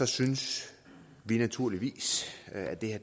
synes vi naturligvis at det her